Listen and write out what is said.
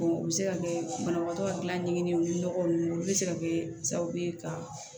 o bɛ se ka kɛ banabagatɔ ka gilanni nɔgɔ ninnu olu bɛ se ka kɛ sababu ye ka